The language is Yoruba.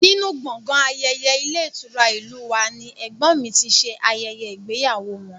Nínú gbọ̀ngàn ayẹyẹ ilé ìtura ìlú u wa ni ẹ̀gbọ́n mi ti ṣe ayẹyẹ ìgbéyàwó wọn